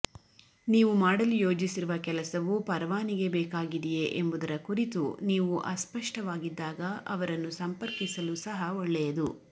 ನೀವು ಮಾಡಲು ಯೋಜಿಸಿರುವ ಕೆಲಸವು ಪರವಾನಿಗೆ ಬೇಕಾಗಿದೆಯೇ ಎಂಬುದರ ಕುರಿತು ನೀವು ಅಸ್ಪಷ್ಟವಾಗಿದ್ದಾಗ ಅವರನ್ನು ಸಂಪರ್ಕಿಸಲು ಸಹ ಒಳ್ಳೆಯದು